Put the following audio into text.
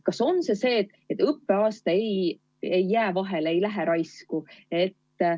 Kas seda saab, et õppeaasta ei jää vahele, ei lähe raisku?